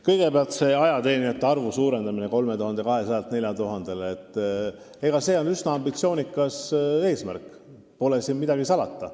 Kõigepealt, see ajateenijate arvu suurendamine 3200-lt 4000-le on üsna ambitsioonikas eesmärk, siin pole midagi salata.